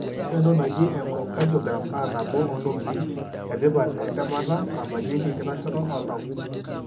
Ore entoki naaji enchocardiogram na nabo ontokitin etipatentemata nabakieki enkitashoto oltau.